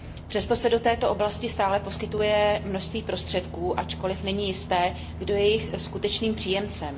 Přesto se do této oblasti stále poskytuje množství prostředků, ačkoliv není jisté, kdo je jejich skutečným příjemcem.